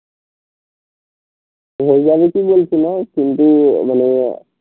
তোর হয়ে যাবে ঠিক বলছি না কিন্তু মানে,